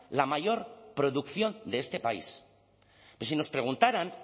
la mayor producción de este país pero si nos preguntaran